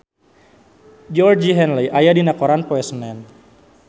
Georgie Henley aya dina koran poe Senen